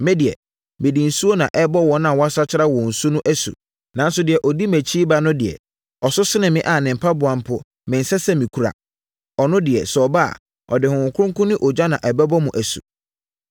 “Me deɛ, mede nsuo na ɛrebɔ wɔn a wɔasakyera wɔn su no asu. Nanso deɛ ɔdi mʼakyi reba no deɛ, ɔso sene me a ne mpaboa mpo mensɛ sɛ mekura. Ɔno deɛ, sɛ ɔba a, ɔde Honhom Kronkron ne ogya na ɛbɛbɔ mo asu.